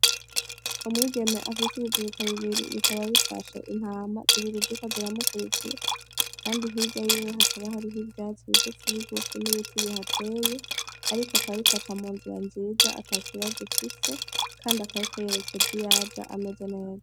Umwigeme afise ibiziriko bibiri bikaba bifashe intama zibiri ziriko ziramukurikira, kandi hirya yiwe hakaba hariho ivyatsi bigufi bigufi n'ibiti bihateye, ariko akaba ariko aca mu nzira nziza ata kibazo ifise, kandi akaba ariko yerekeza iyaja ameze neza.